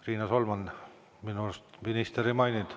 Riina Solman, minu arust minister ei maininud.